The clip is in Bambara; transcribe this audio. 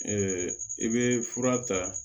i bɛ fura ta